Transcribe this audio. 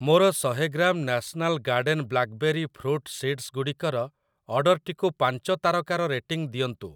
ମୋର ଶହେ gram national garden blackberry fruit seeds ଗୁଡ଼ିକର ଅର୍ଡ଼ର୍‌‌ଟିକୁ ପାଞ୍ଚ ତାରକାର ରେଟିଂ ଦିଅନ୍ତୁ ।